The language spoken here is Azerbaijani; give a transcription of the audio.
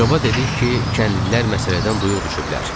Coba dedik ki, kəndlilər məsələdən duyuq düşüblər.